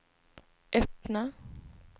öppna